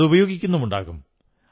അതുപയോഗിക്കുന്നുമുണ്ടാകും